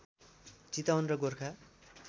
चितवन र गोर्खा